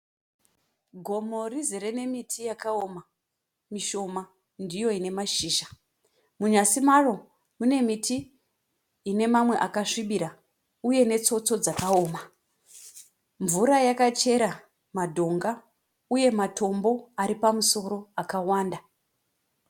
Gomo rizere nemiti yakaoma mishoma ndiyo ine mashizha, munyazi maro mune miti ine mamwe akasvibira uye netsotso dzakaoma. Mvura yakachera madhonga uye matombo aripamusoro akawanda.